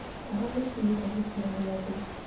Heho nĩĩkinyĩte gĩkĩro gĩa thĩ